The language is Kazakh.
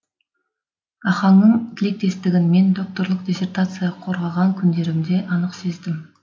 ахаңның тілектестігін мен докторлық диссертация қорғаған күндерімде анық сездім